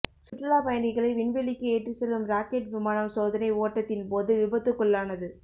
சுற்றுலா பயணிகளை விண்வெளிக்கு ஏற்றி செல்லும் ராக்கெட் விமானம் சோதனை ஓட்டத்தின் போது விபத்துக்குள்ளானது